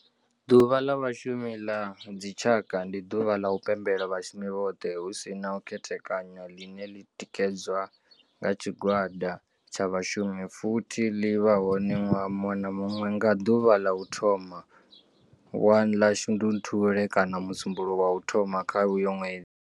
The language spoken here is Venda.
Ḓuvha la vhashumi la dzi tshaka, ndi ḓuvha ḽa u pembela vhashumi vhothe hu si na u khethekanya ḽine ḽi tikedzwa nga tshigwada tsha vhashumi futhi ḽi vha hone nwaha munwe na munwe nga ḓuvha ḽa u thoma 1 ḽa Shundunthule kana musumbulowo wa u thoma kha uyo nwedzi.